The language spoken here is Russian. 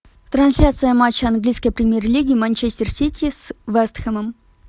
трансляция матча английской премьер лиги манчестер сити с вест хэмом